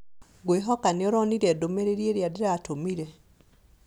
Ngwĩhoka nĩuronire ndũmĩrĩri ĩrĩa ndĩratũmire